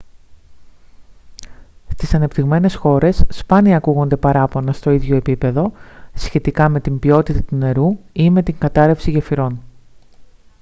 στις ανεπτυγμένες χώρες σπάνια ακούγονται παράπονα στο ίδιο επίπεδο σχετικά με την ποιότητα του νερού ή με την κατάρρευση γεφυρών